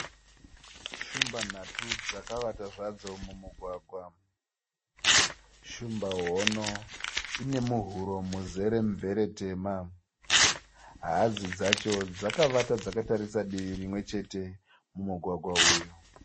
Shumba nhatau dzakavata zvadzo mumugwagwa. Shumba hono ine muhuro muzere mvere tema. Hadzi dzacho dzakavata dzakatarisa divi rimwe chete mumugwagwa uyu.